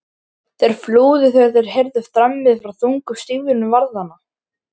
Þeir flúðu þegar þeir heyrðu þrammið frá þungum stígvélum varðanna.